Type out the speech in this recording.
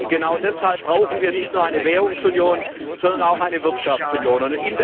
Genau deshalb brauchen wir nicht nur eine Währungsunion, sondern auch eine Wirtschaftsunion.